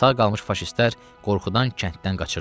Sağ qalmış faşistlər qorxudan kənddən qaçırdılar.